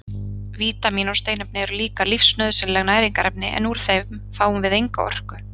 Vítamín og steinefni eru líka lífsnauðsynleg næringarefni en úr þeim fáum við enga orku.